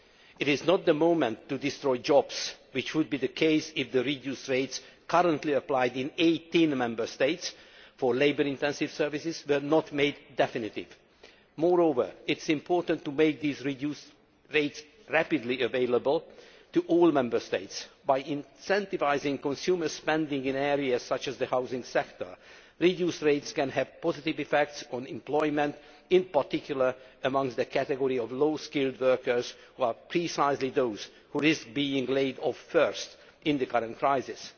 It is not the moment to destroy jobs, which would be the case if the reduced rates currently applied in 18 Member States for labour intensive services were not made definitive. Moreover, it is important to make these reduced rates rapidly available to all Member States. By incentivising consumer spending in areas such as the housing sector, reduced rates can have positive effects on employment, in particular amongst the category of low skilled workers, who are precisely those who risk being laid off first in the current crisis.